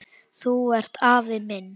Þú ert afi minn!